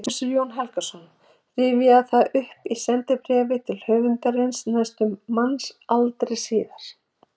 Prófessor Jón Helgason rifjaði það upp í sendibréfi til höfundarins næstum mannsaldri síðar